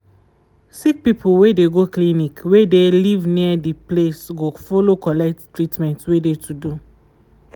sick people wey de go clinic wey de live near de place go follow collect treatment wey de to do